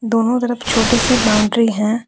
दोनों तरफ छोटे से बाउंड्री हैं।